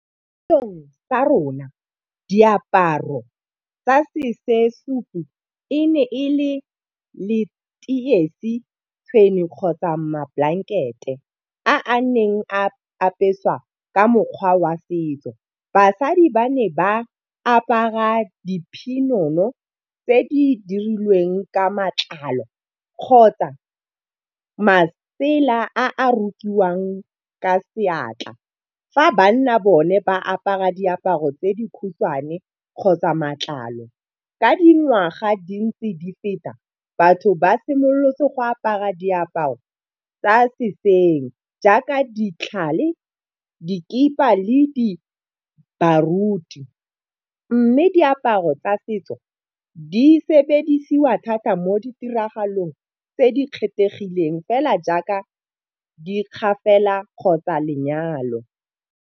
Sa rona diaparo tsa e ne le letoisi kgotsa mablankete a neng a apeswa ka mokgwa wa setso. Basadi ba ne ba apara diphinono tse di dirilweng ka matlalo kgotsa masela a a rokiwang ka seatla. Fa banna bone ba apara diaparo tse di khutshwane kgotsa matlalo, ka dingwaga di ntse di feta batho ba simolotse go apara diaparo tsa sešweng. Jaaka ditlhale, dikipa le di baruti, mme diaparo tsa setso di sebediswa thata mo ditiragalong tse di kgethegileng fela jaaka di kgapela kgotsa lenyalo.